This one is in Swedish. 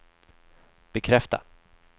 bekräfta